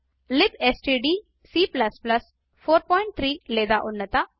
libstdc 43 లేదా ఉన్నత